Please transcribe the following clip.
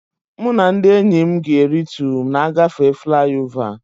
Mụ na ndị enyi m ga e ritu na-agafe fliova